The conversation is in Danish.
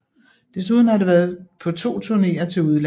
Desuden har det været på 2 turneer til udlandet